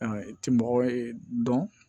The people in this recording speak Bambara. i ti mɔgɔ dɔn